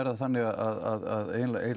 það þannig að